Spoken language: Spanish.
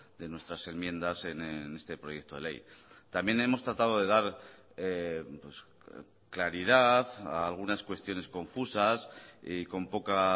de nuestras enmiendas en este proyecto de ley también hemos tratado de dar claridad a algunas cuestiones confusas y con poca